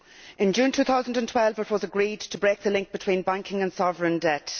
In June 2012, it was agreed to break the link between banking and sovereign debt.